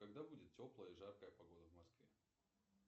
когда будет теплая и жаркая погода в москве